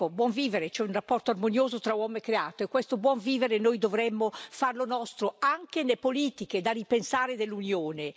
Ecco, buon vivere, cioè un rapporto armonioso tra uomo e creato, e questo buon vivere noi dovremmo farlo nostro, anche nelle politiche da ripensare dell'Unione.